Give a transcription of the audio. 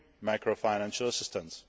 EU macrofinancial assistance.